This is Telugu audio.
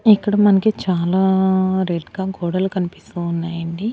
ఇక్కడ మనకి చాలా రెడ్ గా గోడలు కనిపిస్తున్నాయి అండి.